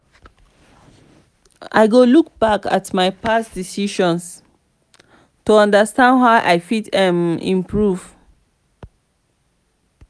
i go look back at my past decisions to understand how i fit um improve.